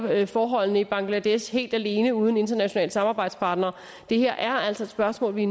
forholdene i bangladesh helt alene uden internationale samarbejdspartnere det her er altså et spørgsmål vi